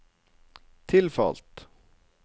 tilfalt